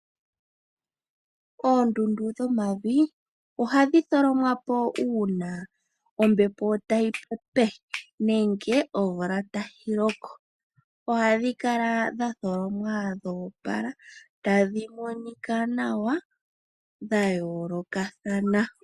Oondundu dhomavi ohadhi tholomwa po uuna ombepo tayi pepe ngele omvula tayi loko. Ohadhi kala dha tholomwa dho opala, tadhi monika nawa dha yoolokathana.